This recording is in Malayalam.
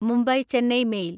മുംബൈ ചെന്നൈ മെയിൽ